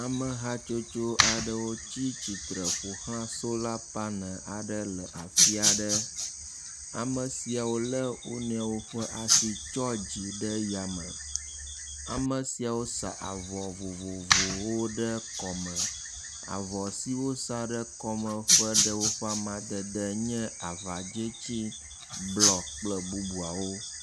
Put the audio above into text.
Ame hatsotso aɖewo tsi tsitre ƒoxla sola panel le afi aɖe, ame siawo le wo nɔewoƒe tsɔ dzi ɖe ya meame siawo sa avɔ vovovowo ɖe kɔme, avɔ siawo wosa ɖe kɔme ƒe amadede le abe avadzetsi, blɔ kple bubuwo